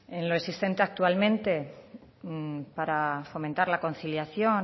en lo existente actualmente para fomentar la conciliación